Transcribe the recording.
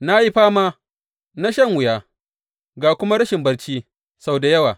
Na yi fama, na shan wuya, ga kuma rashin barci sau da yawa.